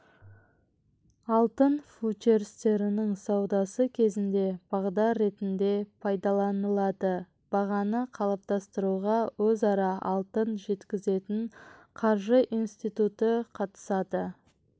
алтын фьючерстерінің саудасы кезінде бағдар ретінде пайдаланылады бағаны қалыптастыруға өзара алтын жеткізетін қаржы институты қатысады